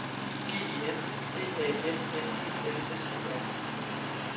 G E N D A N N E L S E R